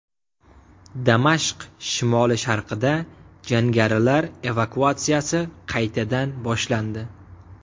Damashq shimoli-sharqida jangarilar evakuatsiyasi qaytadan boshlandi.